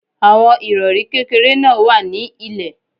Àwọn Ìrọ̀rí kékeré náà wà ní ilè.